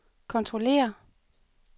kontrollere